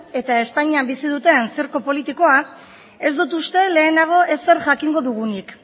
eta espainian bizi duten zirku politikoa ez dut uste lehenago ezer jakingo dugunik